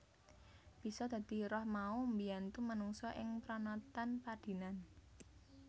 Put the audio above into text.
Bisa dadi roh mau mbiyantu manungsa ing pranatan padinan